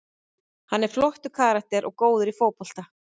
Hann er flottur karakter og góður í fótbolta.